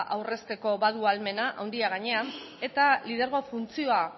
aurrezteko badu ahalmena handia gainera eta lidergo funtzioa